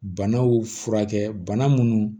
Banaw furakɛ bana munnu